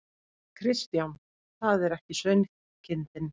Kristján: Það er ekki sauðkindin?